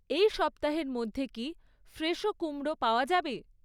এই সপ্তাহের মধ্যে কি ফ্রেশো কুমড়ো পাওয়া যাবে?